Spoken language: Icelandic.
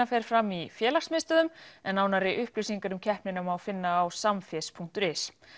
fer fram í félagsmiðstöðvum en nánari upplýsingar um keppnina má finna á Samfés punktur is